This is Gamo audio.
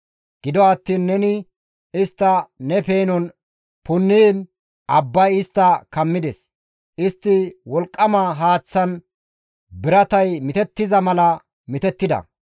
Gido attiin neni istta ne peenon punniin, abbay istta kammides. Istti wolqqama haaththan biratay mitettiza mala mitettida.